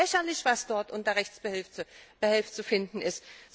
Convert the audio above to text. Das ist doch lächerlich, was dort unter Rechtsbehelf zu finden